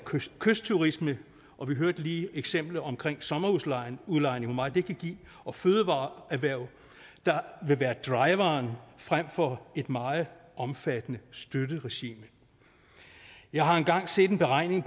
kystturisme og vi hørte lige eksemplet omkring sommerhusudlejning og hvor meget det kan give og fødevareerhvervet der vil være driveren frem for et meget omfattende støtteregime jeg har engang se en beregning